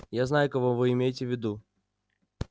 я знаю кого вы имеете в виду